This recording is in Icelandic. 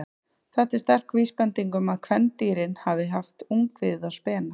Þetta er sterk vísbending um að kvendýrin hafi haft ungviðið á spena.